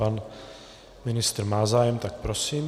Pan ministr má zájem, tak prosím.